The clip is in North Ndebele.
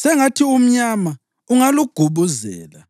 sengathi umnyama ungalugubuzela.